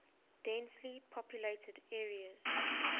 densely populated areas